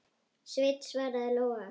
Sveinn, svaraði Lóa.